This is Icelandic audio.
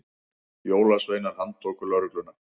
Jólasveinar handtóku lögregluna